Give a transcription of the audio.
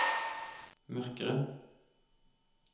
mørkere